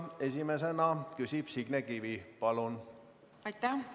Esimesena küsib Signe Kivi, palun!